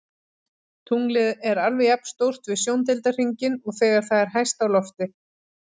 Tunglið er alveg jafn stórt við sjóndeildarhringinn og þegar það er hæst á lofti.